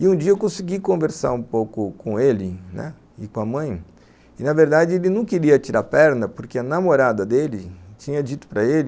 E um dia eu consegui conversar um pouco com ele e com a mãe, e na verdade ele não queria tirar a perna porque a namorada dele tinha dito para ele